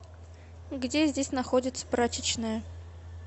где здесь находится прачечная